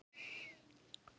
Sara Margrét og Sólveig Íris.